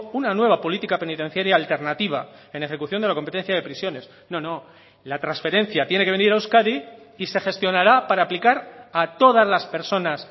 una nueva política penitenciaria alternativa en ejecución de la competencia de prisiones no no la transferencia tiene que venir a euskadi y se gestionará para aplicar a todas las personas